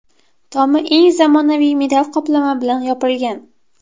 Tomi eng zamonaviy metall qoplama bilan yopilgan.